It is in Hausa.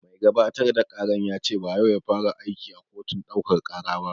Mai gabatar da ƙaran ya ce ba yau ya fara aiki a kotun ɗaukaka ƙara ba